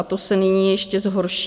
A to se nyní ještě zhorší.